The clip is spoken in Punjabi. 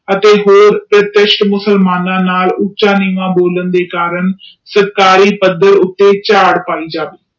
ਅਤੇ ਹੋਰ ਮੁਸਲਮਾਨਾਂ ਨਾਲ ਉਚਾ ਨੀਵਾਂ ਬੋਲਣ ਦੇ ਕਾਰਨ ਸਰਕਾਰੀ ਬੰਦੇ ਉੱਤੇ ਚਾਰਡ ਪਾਈ ਜਾਵੇ